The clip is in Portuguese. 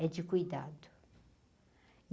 é de cuidado.